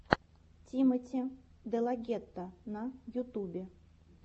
тимоти делагетто на ютубе